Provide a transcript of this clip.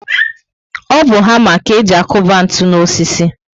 O bu hama ka e ji akuba ntụ n'osisi